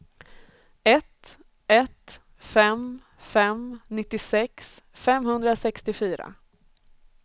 ett ett fem fem nittiosex femhundrasextiofyra